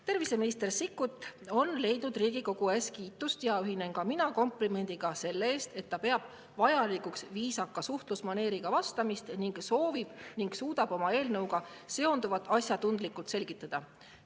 Terviseminister Sikkut on saanud Riigikogu ees kiitust ja ühinen ka mina komplimendiga selle eest, et ta peab vajalikuks viisaka suhtlusmaneeriga vastamist ning soovib ja suudab oma eelnõuga seonduvat asjatundlikult selgitada.